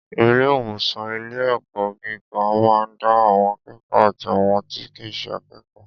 Ilé ìwòsan ilé ẹ̀kọ́ gíga ma da àwọn akékòó àti àwọn tí kìí ṣe akékòó.